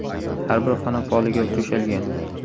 Har bir xona poliga to‘shalgan.